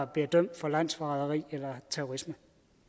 bliver dømt for landsforræderi eller terrorisme